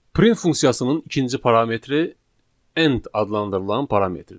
Print funksiyasının ikinci parametri end adlandırılan parametrdir.